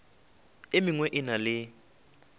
e mengwe e na le